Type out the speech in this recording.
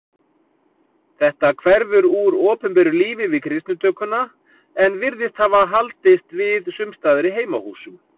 Þetta hverfur úr opinberu lífi við kristnitökuna en virðist hafa haldist við sumstaðar í heimahúsum.